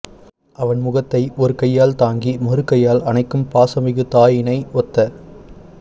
அவன் முகத்தை ஒரு கையால் தாங்கி மறுகையால் அணைக்கும் பாசமிகு தாயினை ஒத்த